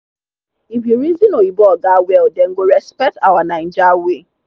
if you reason oyinbo oga well dem go respect our naija way.